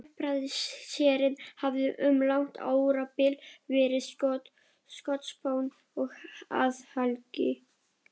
Hjálpræðisherinn hafði um langt árabil verið skotspónn og athlægi